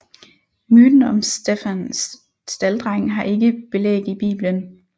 Myten om Stefan Stalddreng har ikke belæg i Bibelen